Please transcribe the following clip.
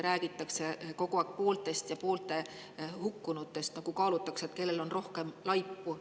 Kogu aeg räägitakse pooltest ja hukkunutest, nagu kaalutaks, kellel on rohkem laipu.